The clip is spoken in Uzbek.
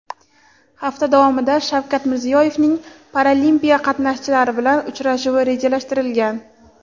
hafta davomida Shavkat Mirziyoyevning Paralimpiada qatnashchilari bilan uchrashuvi rejalashtirilgan.